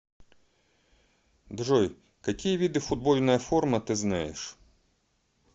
джой какие виды футбольная форма ты знаешь